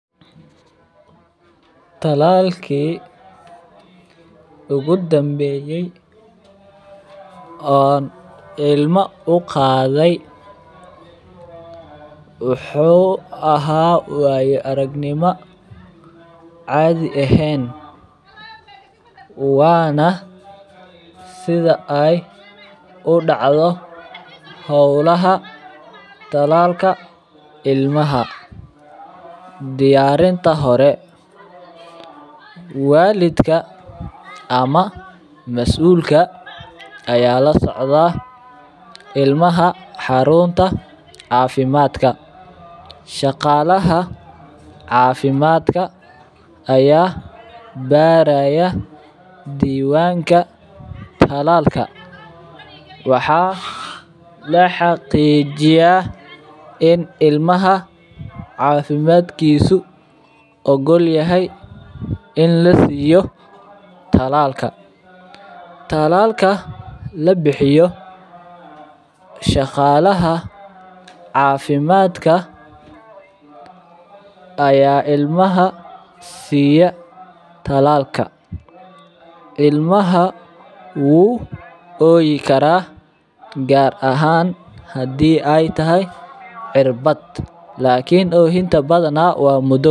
Talalki ugu dambeyay oon ilma u qaaday wuxuu ahaa waayo aragnimo caadi eheen waana sida aay udacdo howlaha talalka ilmaha, diyaarinta hore, walidka ama masuulka ayaa la socdaa ilmaha xaruunta cafimaadka, shaqalaha cafimaadka ayaa baaraya diwaanka talalka, waxaa la xaqiijiya in ilmaha cadimaadkiisu ogol yahay in la siiyo talaalka, talalka labixiyo shaqalaha cafimaadka ayaa ilmaha siiya talaalka, ilmaha wuu ooyi karaa gaar ahaan hadii aay tahay cirbad, lakin oohinta badanaa waa.